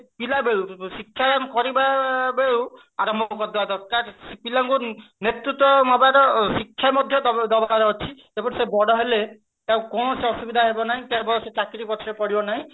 ଆମେ ପିଲାବେଳୁ ଶିକ୍ଷା କରିବା ବେଳୁ ଆରମ୍ଭ କରୁଥିବା ଦରକାର ପିଲାଙ୍କୁ ନେତୃତ୍ୟ ନବାର ଶିକ୍ଷା ମଧ୍ୟ ଦବାର ଅଛି ସେ ବଡ ହେଲେ ତାକୁ କୋଣସି ଅସୁବିଧା ହବ ନାହିଁ ସେ ଚାକିରି ପଛରେ ପଡିବ ନାହିଁ